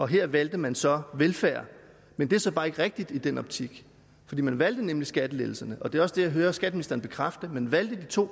her valgte man så velfærd men det er så bare ikke rigtigt i den optik for man valgte nemlig skattelettelserne og det er også det jeg hører skatteministeren bekræfte man valgte de to